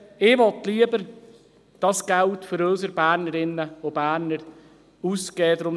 Ich will dieses Geld lieber für unsere Bernerinnen und Berner ausgeben.